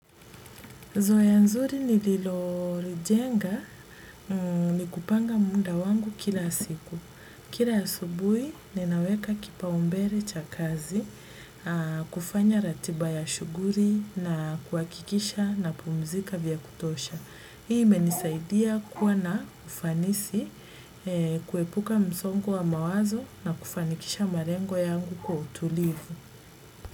Zoea nzuri nililolijenga ni kupanga muda wangu kila siku. Kila asubuhi ninaweka kipa umbele cha kazi, kufanya ratiba ya shughuli na kuhakikisha napumzika vya kutosha. Hii imenisaidia kuwa na ufanisi kuepuka msongo wa mawazo na kufanikisha malengo yangu kwa utulivu.